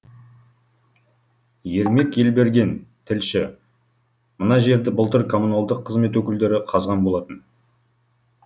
ермек елберген тілші мына жерді былтыр коммуналдық қызмет өкілдері қазған болатын